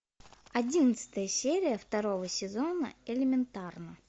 одиннадцатая серия второго сезона элементарно